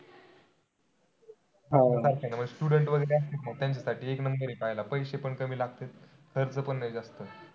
अह student वगैरे असतील ना त्यांच्यासाठी एक number आहे पाहायला पैसे पण कमी लागतात, खर्च पण नाही जास्त.